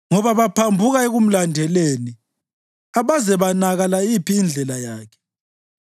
ngoba baphambuka ekumlandeleni abaze banaka layiphi indlela yakhe.